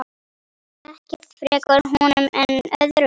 Ekkert frekar honum en öðrum.